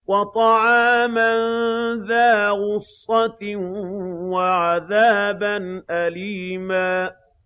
وَطَعَامًا ذَا غُصَّةٍ وَعَذَابًا أَلِيمًا